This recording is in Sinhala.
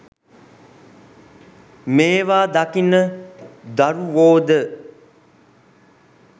මේවා දකින දරුවෝද